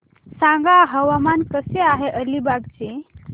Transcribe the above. सांगा हवामान कसे आहे अलिबाग चे